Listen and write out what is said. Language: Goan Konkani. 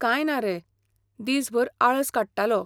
काय ना रे, दीसभर आळस काडटलों .